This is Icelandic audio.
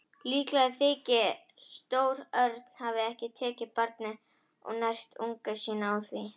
Líklegt þykir að stór örn hafi tekið barnið og nært unga sína á því.